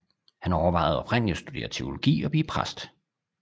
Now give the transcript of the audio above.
Han overvejede oprindeligt at studere teologi og blive præst